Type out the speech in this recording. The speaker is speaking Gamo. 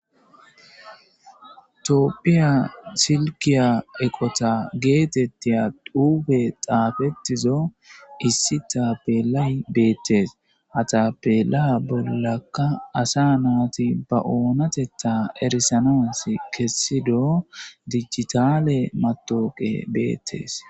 Tophiya silka eqotta gettetiya xuufe xaafettizo issi tapelay bettes ha tapela bollakka asa natti ba oonatetta erisanas kesiddo digitale matawokey beettes